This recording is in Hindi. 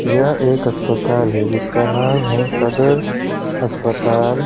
यह एक अस्पताल है जिसका नाम है सदर अस्पताल।